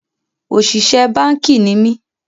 Òṣìṣẹ́ báànkì ni mí